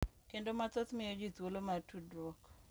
Kendo mathoth miyo ji thuolo mar tudruok